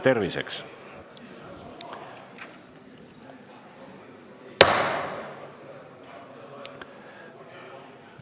Terviseks!